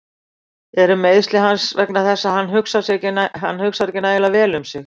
Eru meiðsli hans vegna þess að hann hugsar ekki nægilega vel um sig?